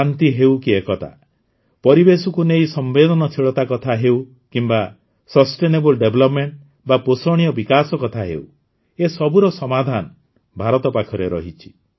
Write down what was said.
ଶାନ୍ତି ହେଉ କି ଏକତା ପରିବେଶକୁ ନେଇ ସମ୍ବେଦନଶୀଳତା କଥା ହେଉ କିମ୍ବା ସଷ୍ଟେନେବୁଲ ଡେଭଲପ୍ମେଂଟ ବା ପୋଷଣୀୟ ବିକାଶ କଥା ହେଉ ଏ ସବୁର ସମାଧାନ ଭାରତ ପାଖରେ ରହିଛି